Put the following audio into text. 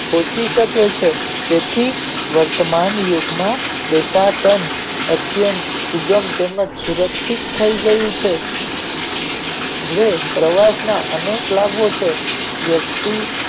તે પૂછી શકે છે તેથી વર્તમાન યુગ માં દેશાટન અત્યતં સુગંધ તેમજ સુરક્ષશિત થય ગયું છે હવે પ્રવાસ માં અનેક લાગ્યો છે વસ્તુ